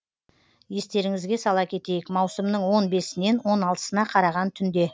естеріңізге сала кетейік маусымның он бесінен он алтысына қараған түнде